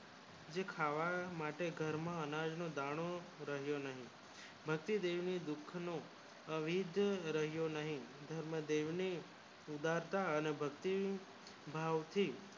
જે ખાવા માટે ઘર માં અનાજ નો દાણો રહ્યો નહિ ભકતી દેવી ને દુઃખ નો અવિધ રહ્યો નહિ ધર્મ દેવ ને સુદામા અને ભક્તિ ભાવ થી